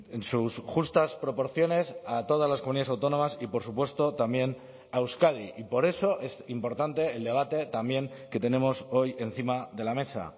en sus justas proporciones a todas las comunidades autónomas y por supuesto también a euskadi y por eso es importante el debate también que tenemos hoy encima de la mesa